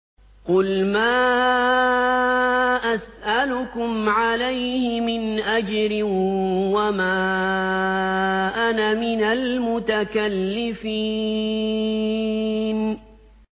قُلْ مَا أَسْأَلُكُمْ عَلَيْهِ مِنْ أَجْرٍ وَمَا أَنَا مِنَ الْمُتَكَلِّفِينَ